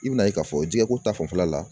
I bɛn'a ye k'a fɔ jɛgɛko ta fanfɛla la